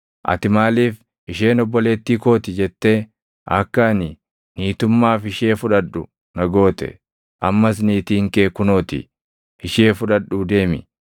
Ati maaliif, ‘Isheen obboleettii koo ti’ jettee, akka ani niitummaaf ishee fudhadhu na goote? Ammas niitiin kee kunoo ti; ishee fudhadhuu deemi!”